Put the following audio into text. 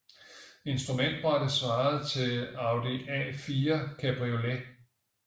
Instrumentbrættet svarede til Audi A4 Cabriolet